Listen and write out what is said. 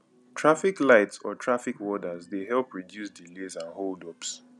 traffic light or traffic warders de help reduce delays and hold ups